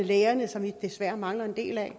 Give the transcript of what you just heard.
lægerne som vi desværre mangler en del af